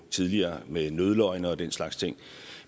tidligere med nødløgne og den slags ting